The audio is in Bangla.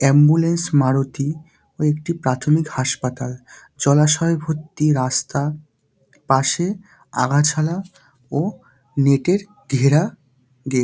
অ্যাম্বুলেন্স মারুতি ও একটি প্রাথমিক হাসপাতাল। জলাশয় ভর্তি রাস্তা পাশে আগাছালা ও নেটের ঘেরা গেট ।